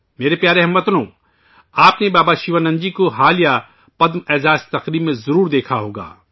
میرے پیارے ہم وطنو، آپ نے بابا شیوانند جی کو حال ہی میں منعقد پدم اعزاز کی تقریب میں ضرور دیکھا ہوگا